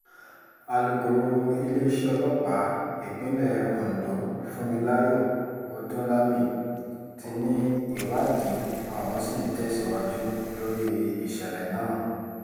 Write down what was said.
alūkọ̀rọ̀ iléeṣẹ́ ọlọ́pàá ìpínlẹ̀ ondo funmilayo ọdúnlami ti ní ìwádìí àwọn ṣì ń tẹ̀síwájú lórí ìṣẹ̀lẹ̀ náà